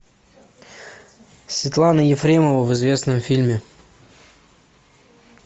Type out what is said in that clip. светлана ефремова в известном фильме